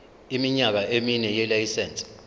iminyaka emine yelayisense